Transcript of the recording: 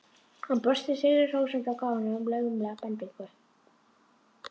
Hann brosti sigri hrósandi og gaf honum laumulega bendingu.